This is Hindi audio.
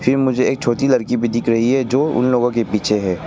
फिर मुझे एक छोटी लड़की भी दिख रही है जो उन लोगों के पीछे है।